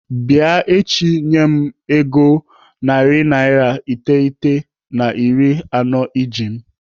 Bịa echi bịa nye m ego narị iteghete na iri anọ iji m!